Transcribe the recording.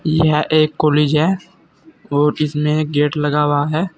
यह एक कॉलेज है और जिसमें एक गेट लगा हुआ है।